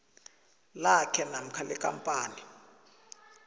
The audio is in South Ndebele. lakhe namkha lekampani